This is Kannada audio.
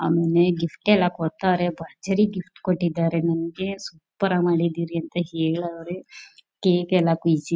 ಅಮ್ಮೆ ಗಿಫ್ಟ್ ಎಲ್ಲ ಕೊಡ್ತಾರೆ ಭರ್ಜರಿ ಗಿಫ್ಟ್ ಕೊಟ್ಟಿದ್ದಾರೆ ನನಗೆ ಸೂಪರ್ ಆಗಿ ಮಾಡಿದ್ದೀರಿ ಅಂತ ಹೇಳಿದ್ದಾರೆ ಕೇಕು ಎಲ್ಲ ಕುಯ್ಯಿಸಿ.